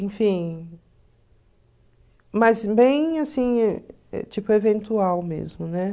Enfim... Mas bem, assim, tipo, eventual mesmo, né?